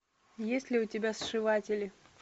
есть ли у тебя сшиватели